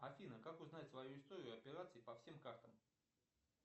афина как узнать свою историю операций по всем картам